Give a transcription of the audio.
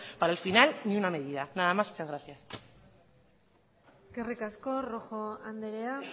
para al final ninguna medida nada más y muchas gracias eskerrik asko rojo andrea